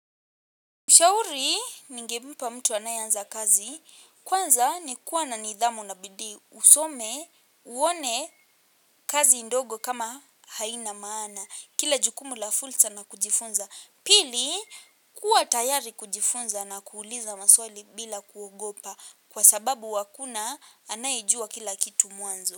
Ushauri, ningempa mtu anayeanza kazi, kwanza ni kuwa na nidhamu na bidii, usome, uone kazi ndogo kama haina maana, kila jukumu la fursa na kujifunza. Pili, kuwa tayari kujifunza na kuuliza maswali bila kuogopa, kwa sababu hakuna anayejua kila kitu mwanzo.